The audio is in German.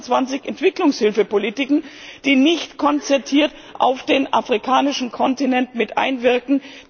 29 Entwicklungshilfepolitiken, die nicht konzertiert auf den afrikanischen Kontinent mit einwirken.